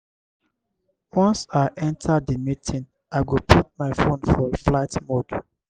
once i enta di meeting i go put my fone for flight mode.